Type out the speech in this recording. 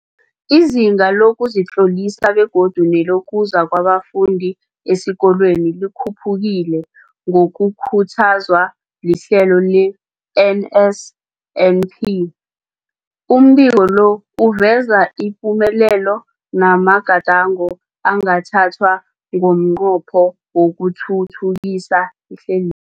Izinga lokuzitlolisa begodu nelokuza kwabafundi esikolweni likhuphukile ngokukhuthazwa lihlelo le-NSNP. Umbiko lo uveza ipumelelo namagadango angathathwa ngomnqopho wokuthuthukisa ihlelweli.